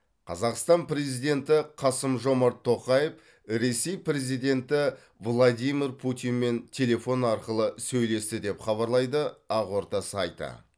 қазақстан президенті қасым жомарт тоқаев ресей президенті владимир путинмен телефон арқылы сөйлесті деп хабарлайды ақорда сайты